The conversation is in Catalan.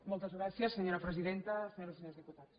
moltes gràcies senyora presidenta senyores i senyors diputats